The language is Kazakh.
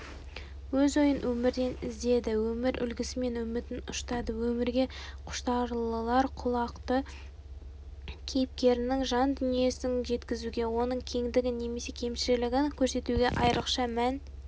өз ойын өмірден іздеді өмір үлгісімен үмітін ұштады өмірге құштарлылар құлақты кейіпкерінің жан дүниесін жеткізуге оның кеңдігін немесе кемшілігін көрсетуге айрықша мән